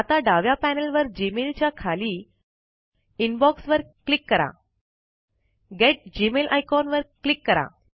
डाव्या पैनल वर जीमेल च्या खाली इनबॉक्स वर क्लिक करून गेट मेल आयकॉन वर क्लिक करा